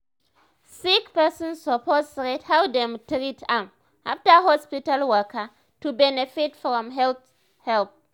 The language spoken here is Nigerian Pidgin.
sick person suppose rate how dem treat am after hospital waka to benefit from health help.